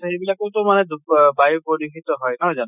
সেইবিলাকতো মানে ব বায়ু প্ৰদূষিত হয় নহয় জানো?